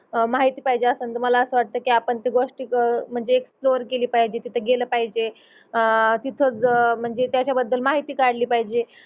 माहिती पाहिजे अस समझा मला अस वाटतंय कि आपन त्या गोष्टी म्हंजे फ्लोर गेली पाहिजे तिथ गेल पाहिजे अह तिथ म्हंजे त्याचा बद्दल माहिती काडली पाहिजे.